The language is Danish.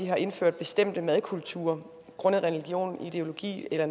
har indført bestemte madkulturer grundet religion ideologier eller